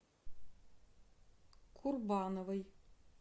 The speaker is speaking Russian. курбановой